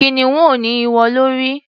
Kìnìún ò ní ìwo lórí.